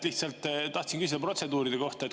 Lihtsalt tahtsin küsida protseduuride kohta.